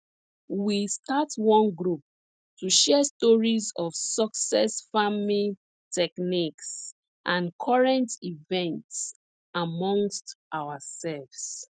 we start one group to share stories of success farming techniques and current events amongst ourselves